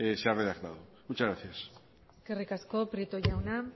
se ha redactado muchas gracias eskerrik asko prieto jauna